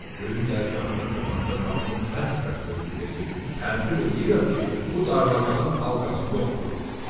Göyin dərgahına çatanda qapını bərk-bərk döydü dedi: Təəccüb eləyirəm ki, bu darvazanın halqası yoxdur.